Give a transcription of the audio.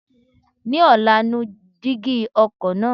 Ní ọ̀la, nu dígí ọkọ̀ náà.